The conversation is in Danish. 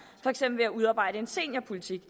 for eksempel ved at udarbejde en seniorpolitik